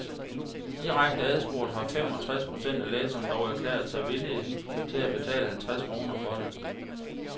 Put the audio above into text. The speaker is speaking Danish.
Direkte adspurgt har fem og tres procent af læserne dog erklæret sig villige til at betale halvtreds kroner for det.